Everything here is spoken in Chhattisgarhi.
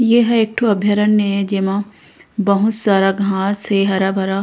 एह एक ठो अभयारन्य ए जेमा बहुत सारा घास हे हरा-भरा--